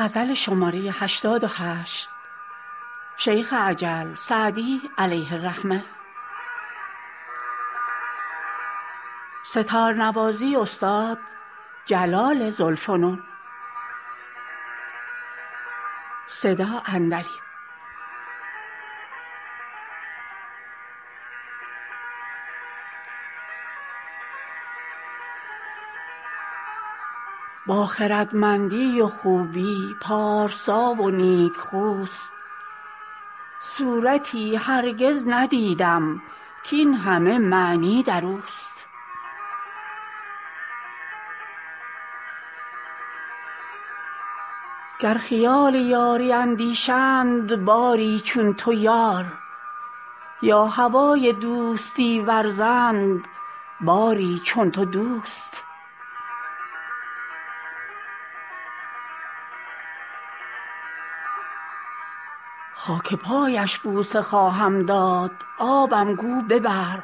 با خردمندی و خوبی پارسا و نیکخوست صورتی هرگز ندیدم کاین همه معنی در اوست گر خیال یاری اندیشند باری چون تو یار یا هوای دوستی ورزند باری چون تو دوست خاک پایش بوسه خواهم داد آبم گو ببر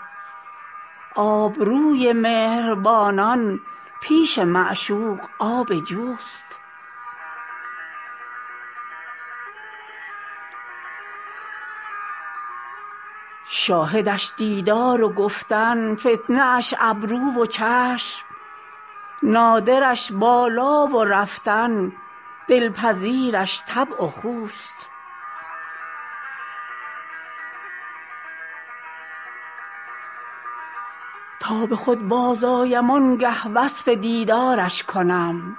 آبروی مهربانان پیش معشوق آب جوست شاهدش دیدار و گفتن فتنه اش ابرو و چشم نادرش بالا و رفتن دلپذیرش طبع و خوست تا به خود بازآیم آن گه وصف دیدارش کنم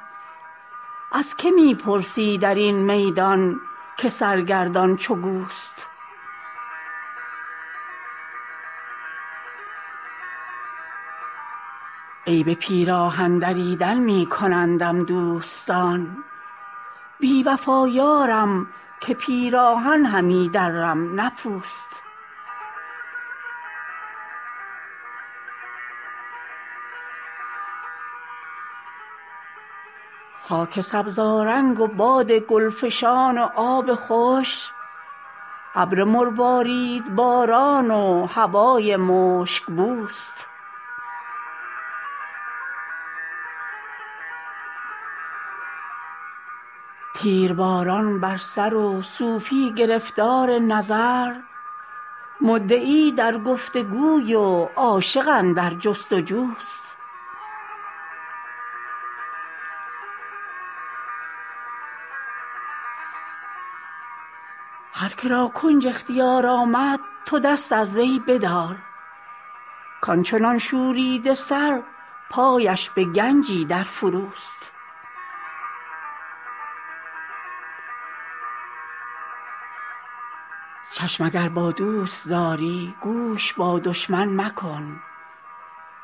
از که می پرسی در این میدان که سرگردان چو گوست عیب پیراهن دریدن می کنندم دوستان بی وفا یارم که پیراهن همی درم نه پوست خاک سبزآرنگ و باد گل فشان و آب خوش ابر مرواریدباران و هوای مشک بوست تیرباران بر سر و صوفی گرفتار نظر مدعی در گفت وگوی و عاشق اندر جست وجوست هر که را کنج اختیار آمد تو دست از وی بدار کان چنان شوریده سر پایش به گنجی در فروست چشم اگر با دوست داری گوش با دشمن مکن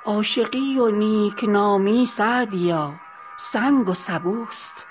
عاشقی و نیک نامی سعدیا سنگ و سبوست